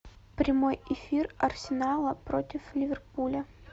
прямой эфир арсенала против ливерпуля